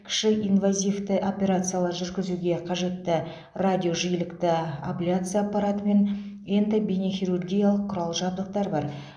кіші инвазивті операциялар жүргізуге қажетті радиожиілікті абляция аппараты мен эндобейнехирургиялық құрал жабдықтар бар